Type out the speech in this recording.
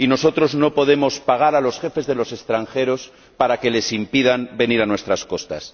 Y nosotros no podemos pagar a los jefes de los extranjeros para que les impidan venir a nuestras costas.